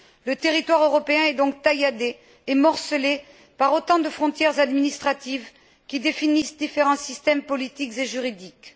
Le territoire européen est donc tailladé et morcelé par autant de frontières administratives qui définissent différents systèmes politiques et juridiques.